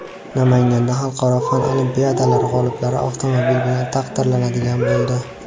Namanganda xalqaro fan olimpiadalari g‘oliblari avtomobil bilan taqdirlanadigan bo‘ldi.